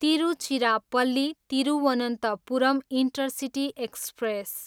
Tiruchirappalli, Thiruvananthapuram intercity express